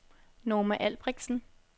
Norma Albrektsen